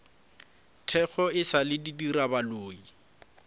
thwego e sa le didirwabaloi